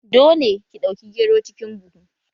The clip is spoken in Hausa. Dole ki ɗauki gero cikin buhu!